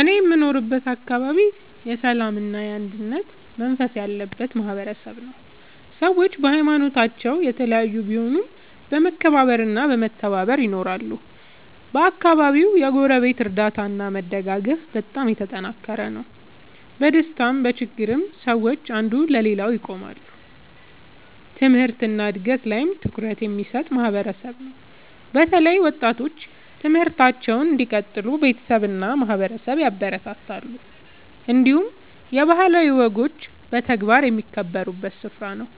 እኔ የምኖርበት አካባቢ የሰላምና የአንድነት መንፈስ ያለበት ማህበረሰብ ነው። ሰዎች በሀይማኖታቸው የተለያዩ ቢሆኑም በመከባበር እና በመተባበር ይኖራሉ። በአካባቢው የጎረቤት እርዳታ እና መደጋገፍ በጣም የተጠናከረ ነው። በደስታም በችግርም ሰዎች አንዱ ለሌላው ይቆማሉ። ትምህርት እና እድገት ላይም ትኩረት የሚሰጥ ማህበረሰብ ነው። በተለይ ወጣቶች ትምህርታቸውን እንዲቀጥሉ ቤተሰብ እና ማህበረሰብ ያበረታታሉ። እንዲሁም የባህላዊ ወጎች በተግባር የሚከበሩበት ስፍራ ነው።